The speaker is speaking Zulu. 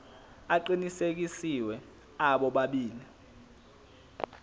aqinisekisiwe abo bobabili